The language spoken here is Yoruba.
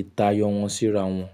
ìtayọ wọn síra wọn.